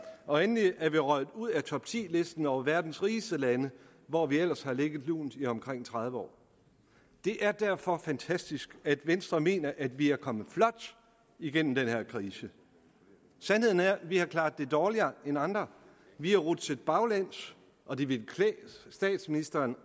og endelig er vi røget ud af topti listen over verdens rigeste lande hvor vi ellers har ligget lunt i omkring tredive år det er derfor fantastisk at venstre mener at vi er kommet flot igennem den her krise sandheden er at vi har klaret det dårligere end andre vi er rutsjet baglæns og det ville klæde statsministeren